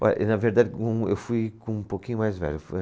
Olha, na verdade, eu fui com um pouquinho mais velho.